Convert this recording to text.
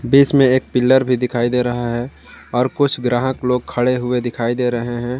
बीच में एक पिलर भी दिखाई दे रहा है और कुछ ग्राहक लोग खड़े हुए दिखाई दे रहे हैं।